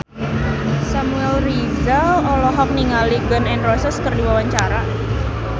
Samuel Rizal olohok ningali Gun N Roses keur diwawancara